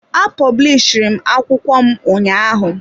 A pọblishiri m akwụkwọ m ụnyaahụ.